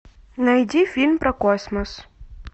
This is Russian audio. найди фильм про космос